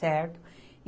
Certo?